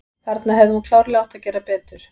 Þarna hefði hún klárlega átt að gera betur.